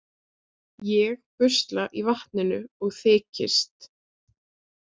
Ég busla í vatninu og þykist.